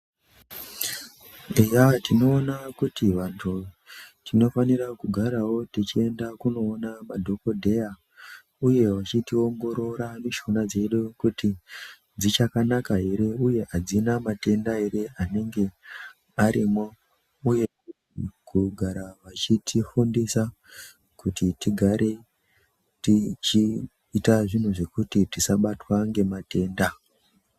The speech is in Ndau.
Eya tinoona kuti vantu tinofanirawo kugarawo techienda kunoona madhogodheya, uye vachitiongorora mishuna dzedu kuti dzichakanaka here uye hadzina matenda here anenge arimo, uye kugara vachitifundisa kuti tigare tichiita zvinhu zvekuti tisabatwa ngematenda.